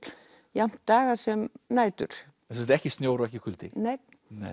jafnt daga sem nætur sem sagt ekki snjór og ekki kuldi nei